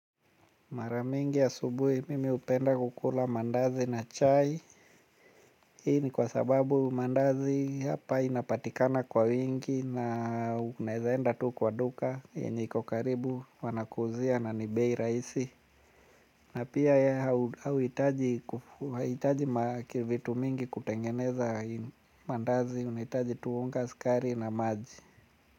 Mara mingi asubuhi mimi hupenda kukula mandazi na chai. Hii ni kwa sababu mandazi hapa inapatikana kwa wingi na unaezaenda tu kwa duka. Yenye iko karibu wanakuuzia na ni bei rahisi. Na pia hauitaji hauitaji maki vitu mingi kutengeneza maandazi unahitaji tu unga sukari na maji.